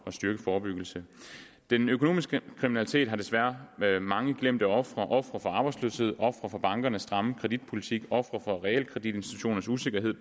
at styrke forebyggelsen den økonomiske kriminalitet har desværre mange glemte ofre ofre for arbejdsløshed ofre for bankernes stramme kreditpolitik og ofre for realkreditinstitutternes usikkerhed